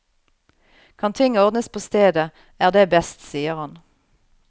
Kan ting ordnes på stedet, er det best, sier han.